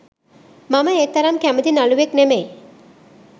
මම ඒ තරම් කැමති නළුවෙක් නෙමෙයි.